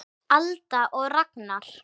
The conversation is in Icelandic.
Alda og Ragnar.